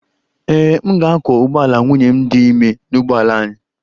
Ee e, m ga-akwọ ụgbọala nwunye m dị ime n'ụgbọala anyị